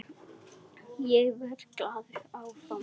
Ég verð glaður áfram hérna.